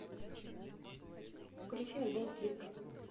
включи альбом кинг